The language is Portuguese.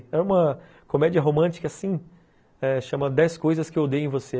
É uma comédia romântica, assim, eh chamada dez coisas que eu odeio em você.